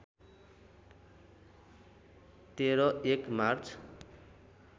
१३ १ March